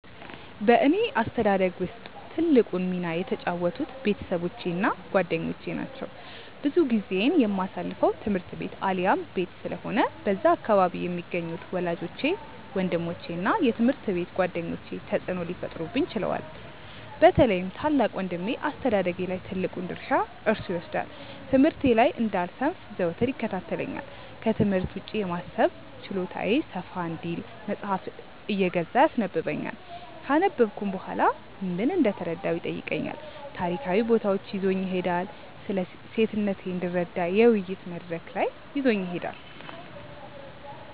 በእኔ አስተዳደግ ውስጥ ትልቁን ሚና የተጫወቱት ቤተሰቦቼ እና ጓደኞቼ ናቸው። ብዙ ጊዜዬን የማሳልፈው ትምህርት ቤት አሊያም ቤት ስለሆነ በዛ አካባቢ የሚገኙት ወላጆቼ፤ ወንድሞቼ እና የትምሀርት ቤት ጓደኞቼ ተጽእኖ ሊፈጥሩብኝ ችለዋል። በተለይም ታላቅ ወንድሜ አስተዳደጌ ላይ ትልቁን ድርሻ እርሱ ይወስዳል። ትምህርቴ ላይ እንዳልሰንፍ ዘወትር ይከታተለኛል፤ ክትምህርት ውጪ የማሰብ ችሎታዬ ሰፋ እንዲል መጽሃፍ እየገዛ ያስነበብኛል፤ ካነበብኩም በኋላ ምን እንደተረዳሁ ይጠይቀኛል፤ ታሪካዊ ቦታዎች ይዞኝ ይሄዳል፤ ስለሴትነቴ እንድረዳ የውይይት መድረክ ላይ ይዞኝ ይሄዳል።